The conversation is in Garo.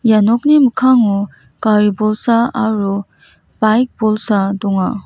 ia nokni mikkango gari bolsa aro bike bolsa donga.